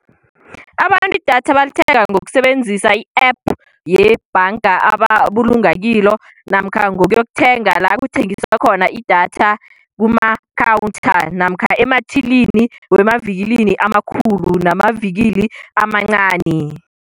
Abantu idatha balithenga ngokusebenzisa i-App yebhanga ababulunga kilo, namkha ngokuya yokuthenga la kuthengiswa khona idatha kumakhawutha, namkha emathilini emavikilini amakhulu namavikili amancani.